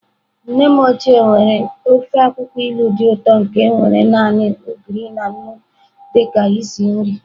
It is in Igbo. Nne m ochie mere ofe akwụkwọ ilu dị ụtọ nke nwere naanị Ogiri na nnu dị ka isi nri.